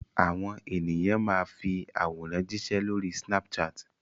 Àwọn ènìyàn máa fi àwòrán jíṣẹ́ lórí Snapchat.